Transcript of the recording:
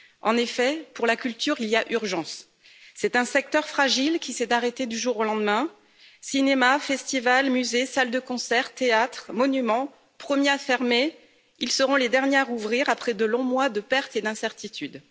En effet, pour la culture, il y a urgence, c'est un secteur fragile, qui s'est arrêté du jour au lendemain. Cinémas, festivals, musées, salles de concert, théâtres, monuments premiers à fermer, ils seront les derniers à rouvrir après de longs mois de pertes et d'incertitudes.